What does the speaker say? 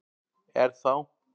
Er þá